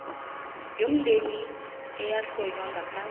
yomndeni eyahlonywa ngaphasi